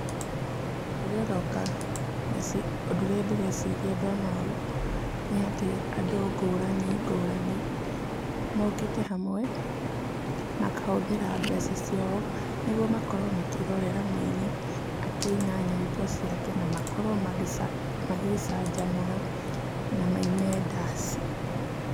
Ũrĩa ũroka ũndũ ũrĩa ndĩreciria ndona ũũ nĩatĩ andũ ngũrani ngũrani, mokĩte hamwe, makahũthĩra mbeca ciao, nĩguo makorwo makĩrorera mũinĩ, akĩina nyĩmbo ciake, namakorwo magĩca magĩcanjamũra, na maine ndaci.